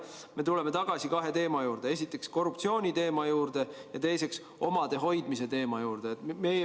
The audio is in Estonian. Ma tulen tagasi kahe teema juurde, esiteks korruptsiooni teema juurde ja teiseks omade hoidmise teema juurde.